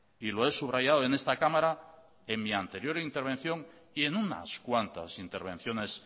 y lo he subrayado en esta cámara en mi anterior intervención y en unas cuantas intervenciones